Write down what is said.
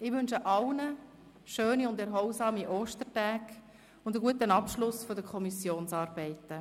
Ich wünsche allen schöne und erholsame Ostertage und einen guten Abschluss der Kommissionsarbeiten.